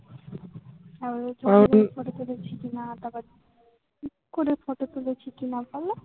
পাশে বসে ছবি তুলেছিলি কিনা তারপর kiss করে photo তুলেছি কিনা বোলো?